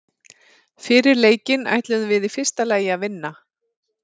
Fyrir leikinn ætluðum við í fyrsta lagi að vinna.